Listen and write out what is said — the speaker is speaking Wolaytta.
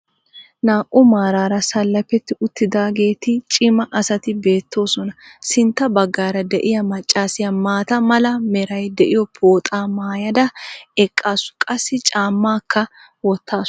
naa'u maaraara salafetti uttidaageeti cimma asati beetoosona. sintta bagaara diya maccassiya maata mala meray diyo pooxxaa maayada eqaasu qassi caamaakka wotaasu.